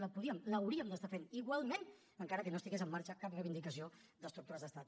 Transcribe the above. el podríem l’hauríem d’estar fent igualment encara que no estigués en marxa cap reivindicació d’estructures d’estat